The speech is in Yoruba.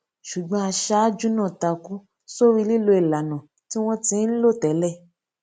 ṣùgbọn aṣáájú náà takú sórí lílo ìlànà tí wón ti ń lò télè